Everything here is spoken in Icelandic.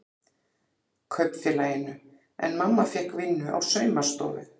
Kaupfélaginu en mamma fékk vinnu á saumastofu.